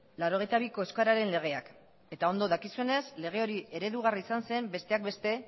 laurogeita biko euskararen legeak eta ondo dakizuenez lege hori eredugarri izan zen besteak beste